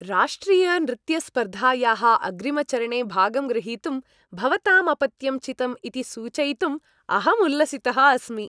राष्ट्रियनृत्यस्पर्धायाः अग्रिमचरणे भागं ग्रहीतुं भवताम् अपत्यं चितम् इति सूचयितुम् अहम् उल्लसितः अस्मि।